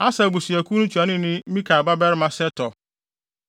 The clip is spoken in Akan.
Aser abusuakuw no ntuanoni ne Mikael babarima Setur;